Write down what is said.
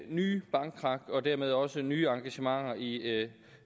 nye bankkrak og dermed også nye engagementer i